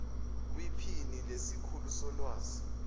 kwiphini lesikhulu solwazi